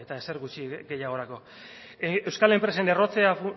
ezer gutxi gehiagorako euskal enpresen errotzea